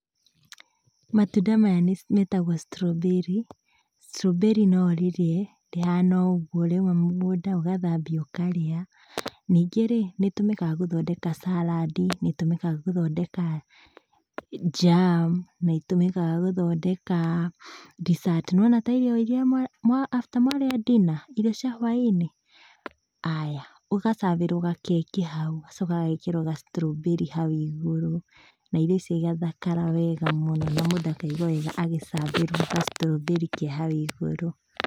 Matunda maya metagũo straw berry. Straw berry no ũrĩrĩe, rĩhana o ũguo rĩauma mũgũnda, ũgathambia ũkarĩa. Ningĩ-rĩ, nĩtũmĩkaga gũthondeka saradi, nĩrĩtũmĩkaga gũthondeka jam, nĩrĩtũmĩkaga gũthondeka dessert, nĩwona ta irio iria mwa mwa after mwarĩa dinner, irio cia hwainĩ, aya. Ũga serve ĩrwo gakeki haũ, gagacoka gagekĩrũo ga straw berry hau igũrũ, na irio icio igathakara wega mũno, na mũndũ akaigua wega agĩ serve ĩrwo ga straw berry ke hau igũrũ.